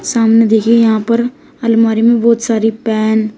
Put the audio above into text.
सामने देखिए यहां पर अलमारी में बहुत सारी पेन --